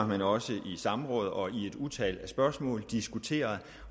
men også i samråd og i et utal af spørgsmål diskuteret